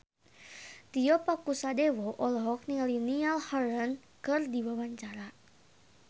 Tio Pakusadewo olohok ningali Niall Horran keur diwawancara